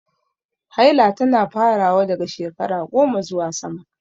Haila tana farawa daga shekara 10 zuwa sama.